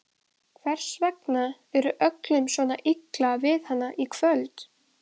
Hvers vegna var öllum svona illa við hann í kvöld?